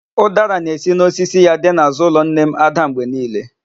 Ụdara na-esi n'osisi ya dị n'àzụ́ ụlọ nne m ádà mgbe niile.